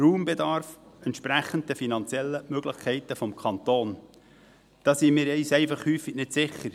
Raumbedarf entsprechend den finanziellen Möglichkeiten des Kantons: Hier sind wir uns häufig einfach nicht sicher;